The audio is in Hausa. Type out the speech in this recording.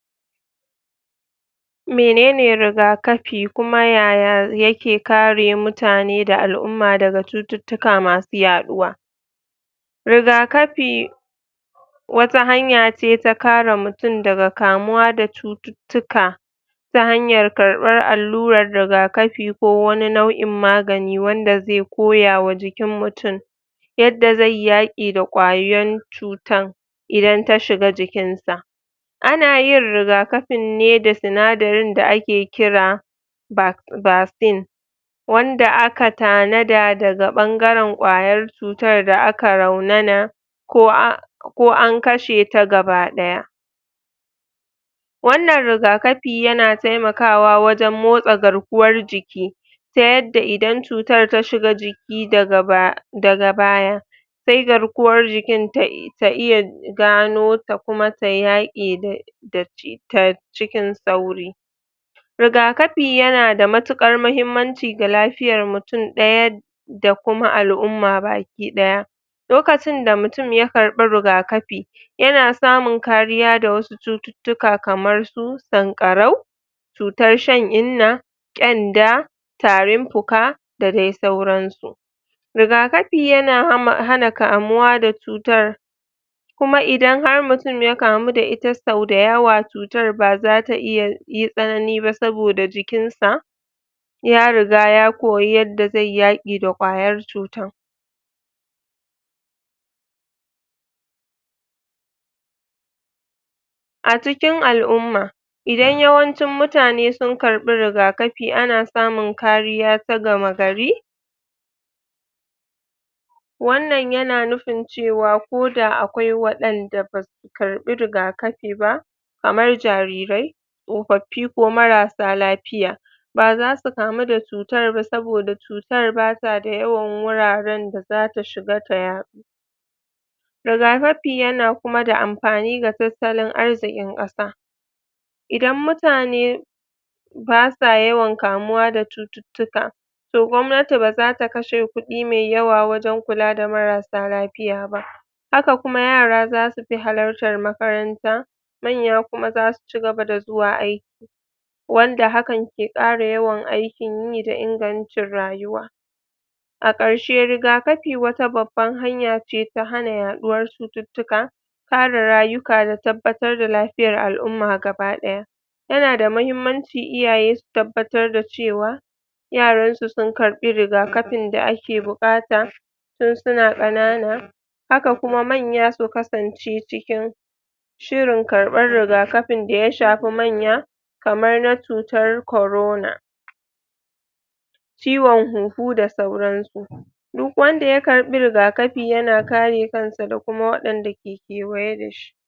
Mene ne rigakapi kuma yaya yake kare mutane da al'umma daga cututtuka masu yaɗuwa rigakapi wata hanya ce ta kare mutum daga kamuwa da cututtuka ta hanyar karɓar alluran rigakapi ko wani nau'i magani wanda zai koya wa jikin mutum yadda zai yi yaƙi da ƙwayan cutan idan ta shiga jikin sa ana yin rigakapin ne da sinadarin da ake kira basin wanda aka tanada daga ɓangaran ƙwayar cutar da aka raunana ko an kashe ta gabaɗaya wannan rigakapi yana taimakawa wajen motsa garkuwan jiki ta yarda idan cutar ta shiga jiki daga baya sai garkuwan jikin ta iya gano ta kuma ta yaƙe da cutar cikin sauri rigapi yana da mutuƙar muhimmanci ga lapiyar mutum ɗaya da kuma al'umma baki ɗaya lokacin da mutum ya karɓi rigakapi yana samun kariya daga wasu cututtuka kamar su sanƙarau cutar shan inna, ƙenda, tarin puka da dai sauran su rigakapi yana hana kamuwa da cutar kuma idan har mutum ya kamu da ita sau dayawa cutar baza ta iya yi tsanani ba saboda jikin sa ya riga ya koyi yadda zaiyi yaƙi da ƙwayar cutan a cikin al'umma idan yawancin mutane suka karɓi rigakapi ana samun kariya ta gama gari wannan yana nufin cewa ko da akwai waɗanda ba su karɓi rigakafi ba kamar jarirai, tsofaffi ko marasa lapiya ba za su kamu da cutar ba saboda cutar ba ta da yawan wuraren da zata shiga ta yaɗu rigakapi yana kuma da ampani wajen tattalin arzikin ƙasa idan mutane basa yawan kamuwa da cututtuka toh gwanati baza ta kashe kuɗi mai yawa wajen kula da marasa lapiya ba haka kuma yara za su fi halaltar makaranta, manya kuma za su cigaba da zuwa aiki wanda hakan ke ƙara yawan aikin yi da inganta rayuwa a ƙarshe rigakapi wata babban hanya ce ta hana yaɗuwar cututtuka kare rayuka da tabbatar da lapiyar al'umma gaba ɗaya yana da mahimmanci iyaye su tabbatar da cewa yaransu su karɓi rigakapin da ake buƙata tun su na ƙanana haka kuma manya su kasance cikin shirin karɓan rigakafin da ya shafi manya kamar na cutar corona ciwon hunhu da sauran su duk wanda ya karɓi rigakafi yana kare kansa da kuma waɗanda ke kewaye da shi.